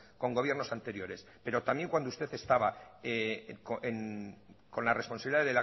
con gobiernos anteriores pero también cuando usted estaba con la responsabilidad